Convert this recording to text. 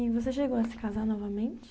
E você chegou a se casar novamente?